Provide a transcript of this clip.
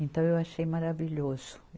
Então eu achei maravilhoso.